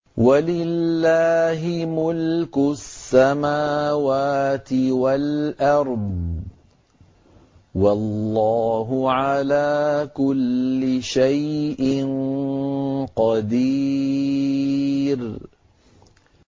وَلِلَّهِ مُلْكُ السَّمَاوَاتِ وَالْأَرْضِ ۗ وَاللَّهُ عَلَىٰ كُلِّ شَيْءٍ قَدِيرٌ